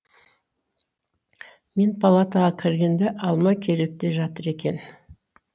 мен палатаға кіргенде алма кереуетте жатыр екен